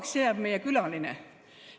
Kui kauaks jääb meie külaline?